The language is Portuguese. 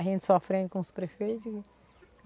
A gente sofrendo com os prefeitos.